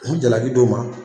N mi jalaki d'o ma